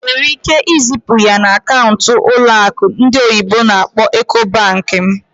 Ị nwere ike izipu ya na akaụntụ ụlọ akụ ndị oyibo n'akpọ "Ecobank" m?